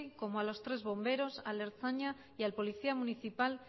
como a los tres bomberos al ertzaina y al policía municipal